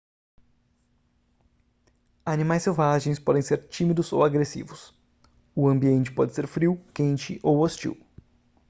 animais selvagens podem ser tímidos ou agressivos o ambiente pode ser frio quente ou hostil